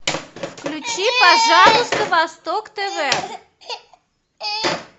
включи пожалуйста восток тв